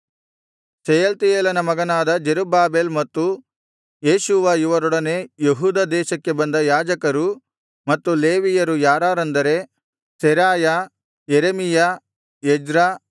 ಶೆಯಲ್ತಿಯೇಲನ ಮಗನಾದ ಜೆರುಬ್ಬಾಬೆಲ್ ಮತ್ತು ಯೇಷೂವ ಇವರೊಡನೆ ಯೆಹೂದ ದೇಶಕ್ಕೆ ಬಂದ ಯಾಜಕರು ಮತ್ತು ಲೇವಿಯರು ಯಾರಾರೆಂದರೆ ಸೆರಾಯ ಯೆರೆಮೀಯ ಎಜ್ರ